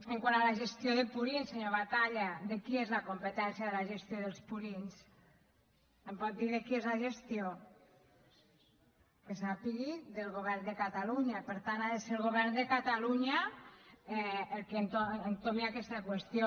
quant a la gestió de purins senyor batalla de qui és la competència de la gestió dels purins em pot dir de qui és la gestió que sàpiga del govern de catalunya per tant ha de ser el govern de catalunya el que entomi aquesta qüestió